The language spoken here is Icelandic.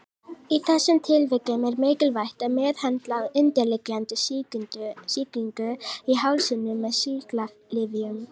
Í þessum tilvikum er mikilvægt að meðhöndla undirliggjandi sýkingu í hálsinum með sýklalyfjum.